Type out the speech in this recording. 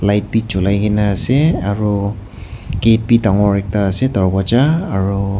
light bi julia gena ase aru gate bi dangor ekta ase darwaja.